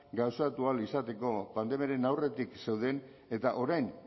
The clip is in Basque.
gauzatu ahal izateko pandemiaren aurretik zeuden eta orain